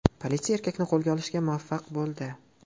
Politsiya erkakni qo‘lga olishga muvaffaq bo‘ldi.